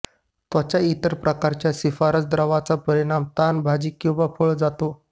त्वचा इतर प्रकारच्या शिफारस द्रवाचा परिणामी ताण भाजी किंवा फळ जातो